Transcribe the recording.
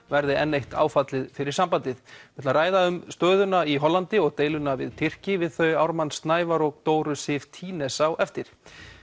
verði enn eitt áfallið fyrir sambandið við ræðum um stöðuna í Hollandi og deiluna við Tyrki við þau Ármann Snævarr og Dóru Sif á eftir